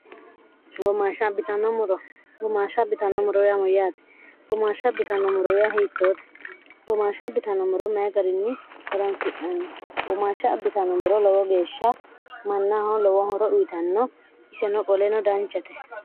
gomaashsha abbitanno moroyamuyyaate iyhiittoote gomaashsha abitano moro maye gariinni horansi'nanni womaashsha abbitanomoro lowo geeshsha mannaaho lowo horo dhuyitanno iseno qoleno danchate